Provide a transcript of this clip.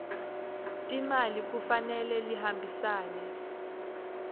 timali kufanele lihambisane